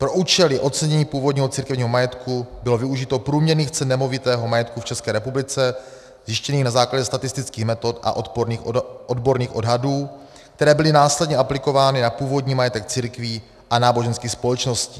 Pro účely ocenění původního církevního majetku bylo využito průměrných cen nemovitého majetku v České republice zjištěných na základě statistických metod a odborných odhadů, které byly následně aplikovány na původní majetek církví a náboženských společností.